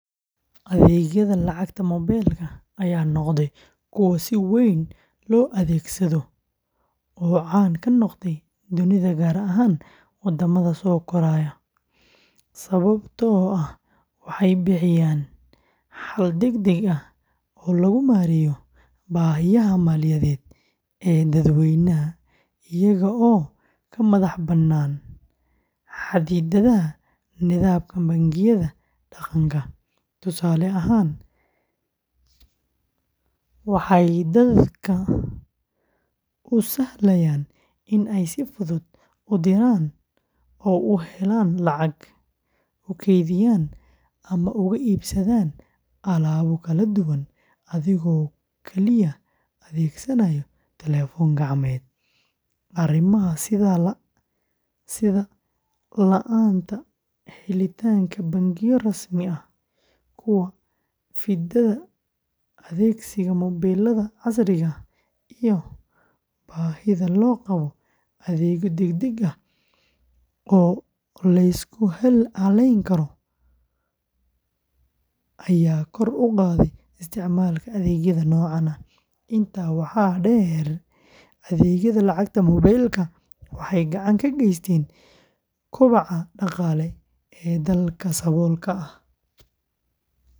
Adeegyada lacagta moobilka ayaa noqday kuwo si weyn loo adeegsado oo caan ka noqday dunida gaar ahaan waddamada soo koraya, sababtoo ah waxay bixiyaan xal degdeg ah oo lagu maareeyo baahiyaha maaliyadeed ee dadweynaha, iyaga oo ka madax bannaan xadidaadaha nidaamka bangiyada dhaqanka. Tusaale ahaan, adeegyada, waxay dadka u sahlayaan in ay si fudud u diraan oo u helaan lacag, u kaydiyaan ama uga iibsadaan alaabo kala duwan adigoo kaliya adeegsanaya telefoon gacmeed. Arrimaha sida la’aanta helitaanka bangiyo rasmi ah, ku fididda adeegsiga moobilada casriga ah, iyo baahida loo qabo adeegyo degdeg ah oo la isku halleyn karo ayaa kor u qaaday isticmaalka adeegyada noocan ah. Intaa waxaa dheer, adeegyada lacagta moobilka waxay gacan ka geysteen kobaca dhaqaale ee dadka saboolka ah.